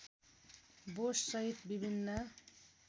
बोस सहित विभिन्न